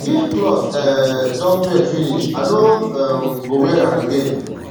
if clothe um don trend finish i no um go wear am again